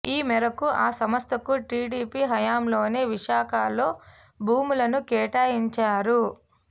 ఈ మేరకు ఆ సంస్థకు టీడీపీ హయాంలోనే విశాఖలో భూములను కేటాయించారు